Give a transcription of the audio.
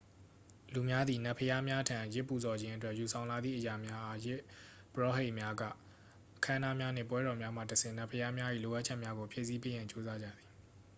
လူများသည် နတ်ဘုရားများထံ ယဇ်ပူဇော်ခြင်းအတွက်ယူဆောင်လာသည့်အရာများအား ယဇ်ပုရောဟိတ်များက အခမ်းအနားများနှင့်ပွဲတော်များမှတဆင့်နတ်ဘုရားများ၏လိုအပ်ချက်များကိုဖြည့်ဆည်းပေးရန်ကြိုးစားကြသည်